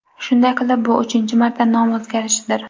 Shunday qilib, bu uchinchi marta nom o‘zgarishidir.